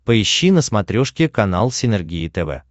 поищи на смотрешке канал синергия тв